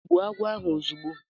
Gbụo agwọ ahụ ozugbo